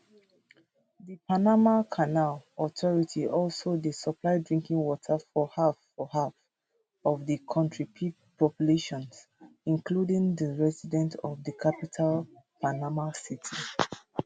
di panama canal authority also dey supply drinking water for half for half of di kontri population including di resident of di capital panama city